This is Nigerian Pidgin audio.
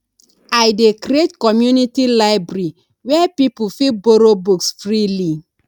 i dey create community library where people fit borrow books freely